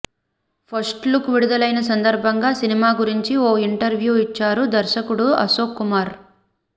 first look విడుదలైన సందర్భంగా సినిమా గురించి ఓ ఇంటర్వ్యూ ఇచ్చారు దర్శకుడు అశోక్ కుమార్